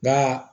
Nga